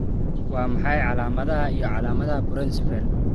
Waa maxay calaamadaha iyo calaamadaha Porencephaly?